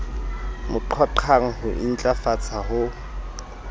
mo qhoqhang ho intlafatsa ho